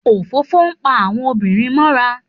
Òfófó ń pa àwọn obìnrin mọ́ra.